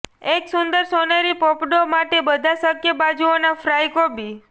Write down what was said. એક સુંદર સોનેરી પોપડો માટે બધા શક્ય બાજુઓ ના ફ્રાય કોબી